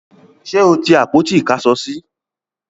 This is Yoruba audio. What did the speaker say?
ṣé o ti àpótí ìkásọsí?